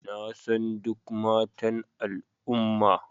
Na san duk matan al'umma